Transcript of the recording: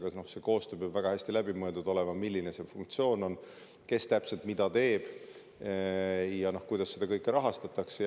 Aga see koostöö peab olema väga hästi läbimõeldud, milline on funktsioon, kes täpselt mida teeb ja kuidas seda kõike rahastatakse.